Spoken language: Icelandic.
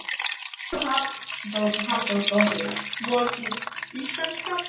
Hugrún Halldórsdóttir: Svolítið íslenskar?